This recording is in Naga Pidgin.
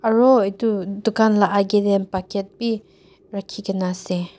aro itu dukan la age te bucket bi rakhi kena ase.